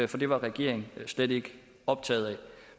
det var regeringen slet ikke optaget af